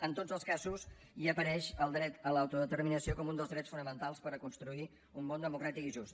en tots els casos hi apareix el dret a l’autodeterminació com un dels drets fonamentals per a construir un món democràtic i just